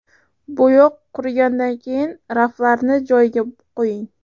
Bo‘yoq qurigandan keyin raflarni joyiga qo‘ying.